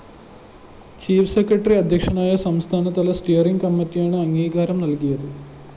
chief secretary അദ്ധ്യക്ഷനായ സംസ്ഥാനതല steering കമ്മറ്റിയാണ് അംഗീകാരം നല്‍കിയത്